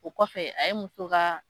O kɔfɛ a ye muso ka